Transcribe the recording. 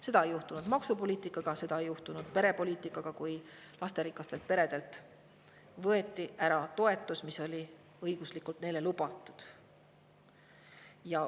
Seda ei juhtunud maksupoliitikaga, seda ei juhtunud perepoliitikaga, kui lasterikastelt peredelt võeti ära toetus, mis oli seadusega neile lubatud.